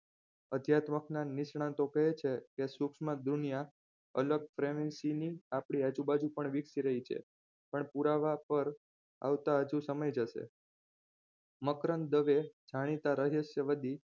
અધ્યાત્મકના નિષ્ણાતો કહે છે કે સૂક્ષ્મ દુનિયા અલગ premisi ની આપણી આજુબાજુ પણ વિકસી રહી છે પણ પુરાવા પર આવતા હજુ સમય જશે મકરંદ દવે જાણીતા રહસ્ય વદી